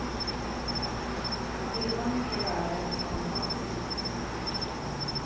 Det var redan mycket värre än i somras.